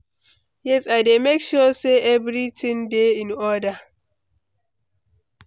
Yes, I dey make sure say everything dey in order.